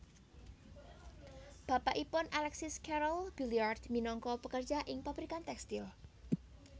Bapakipun Alexis Carrel Billiard minangka pekerja ing pabrikan tekstil